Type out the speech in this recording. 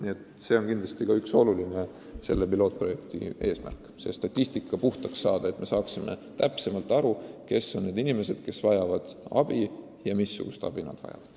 Nii et see on üks oluline pilootprojekti eesmärk: statistika tuleb korda saada, et me saaksime täpsemalt aru, kui palju on neid inimesi ja missugust abi nad vajavad.